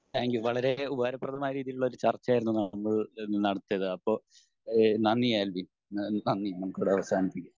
Thank you. വളരേ ഉപകാരപ്രദമായ രീതിയിലുള്ള ഒരു ചർച്ച ആയിരുന്നു നമ്മൾ നടത്തിയത്. അപ്പൊ ഈഹ് നന്ദി ആൽവിൻ. നന്ദി നമുക്കിവിടെ അവസാനിപ്പിക്കാം.